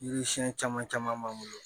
Yiri siɲɛn caman caman b'an bolo